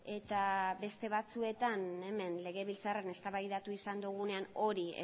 eta beste batzuetan hemen legebiltzarrean eztabaidatu izan dugunean hori